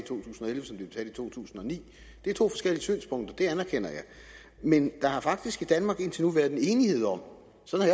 to tusind og ni det er to forskellige synspunkter det anerkender jeg men der har faktisk i danmark indtil nu været enighed om sådan